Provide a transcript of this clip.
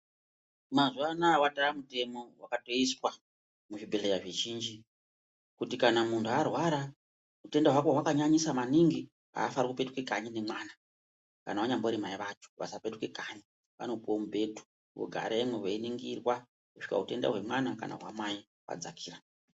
Mazuva anaya vatomutemo vakatoiswa muzvibhedhlera zvizhinji kuti kana muntu arwara hutenda hwako hwakanyanyisa maningi hafaniki kupetuka kanyi nemwana. Kana vanyambori mai vacho havafaniki kupetuka kanyi vanopuve mubhedhu veigaremwo veiningira kusvika hutenda zvemwana kana hwamai hwadzakira.